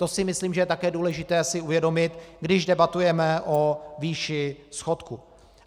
To si myslím, že je také důležité si uvědomit, když debatujeme o výši schodku.